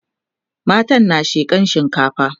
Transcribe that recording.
matan na shekan shinkafa